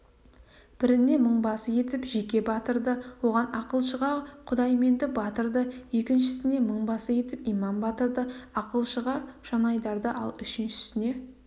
біріне мыңбасы етіп жеке батырды оған ақылшыға құдайменді батырды екіншісіне мыңбасы етіп иман батырды ақылшыға жанайдарды ал үшіншісіне